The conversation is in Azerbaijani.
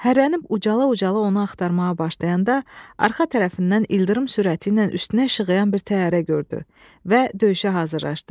Hərələnib ucala-ucala onu axtarmağa başlayanda arxa tərəfindən ildırım sürəti ilə üstünə işığıyan bir təyyarə gördü və döyüşə hazırlaşdı.